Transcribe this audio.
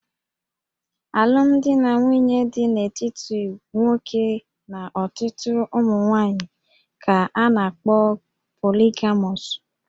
Alụmdi na nwunye dị n'etiti nwoke na ọtụtụ ụmụ nwaanyị ka a na-akpọ poligamọs